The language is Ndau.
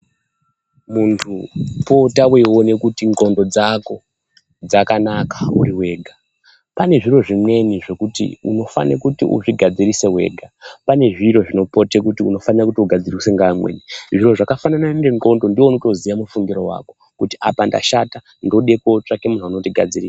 Muntu pota weione kuti ndxondo dzako dzakanaka uri wega. Pane zviro zvimwe zvekuti unofane kuti uzvigadzirise wega, pane zviro zvinopote kuti unofana kuti ugadziriswe ngeamweni. Zviro zvakafanana nendxondo ndiwe unotoziya mufungiro wako kuti apa ndashata, ndode kootsvake muntu anondigadziri...